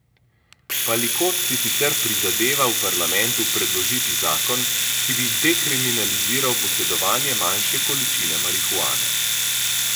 Palikot si sicer prizadeva v parlamentu predložiti zakon, ki bi dekriminaliziral posedovanje manjše količine marihuane.